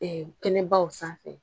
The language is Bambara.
kɛnɛbaw sanfɛ.